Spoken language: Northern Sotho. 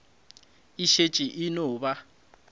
e šetše e no ba